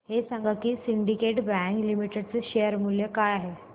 हे सांगा की सिंडीकेट बँक लिमिटेड चे शेअर मूल्य काय आहे